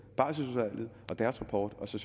barselsudvalget og deres rapport og så